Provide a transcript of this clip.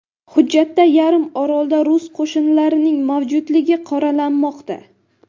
Hujjatda yarim orolda rus qo‘shinlarining mavjudligi qoralanmoqda.